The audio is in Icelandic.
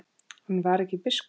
Hann var ekki biskup.